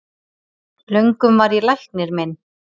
Löngum var ég læknir minn,